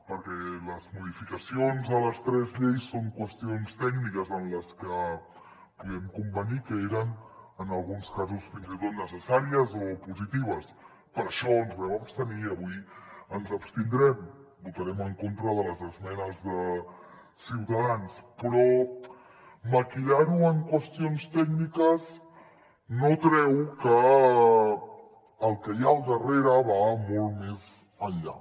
perquè les modificacions de les tres lleis són qüestions tècniques en les que podem convenir que eren en alguns casos fins i tot necessàries o positives per això ens vam abstenir i avui ens abstindrem votarem en contra de les esmenes de ciutadans però maquillar ho en qüestions tècniques no treu que el que hi ha al darrere va molt més enllà